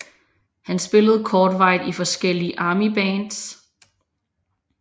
Han spillede kortvarigt i forskellige Armybands